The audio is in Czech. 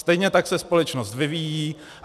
Stejně tak se společnost vyvíjí.